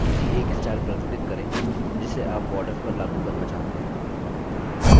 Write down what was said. किसी एक स्टाइल पर click करें जिसे आप borders पर लागू करना चाहते हैं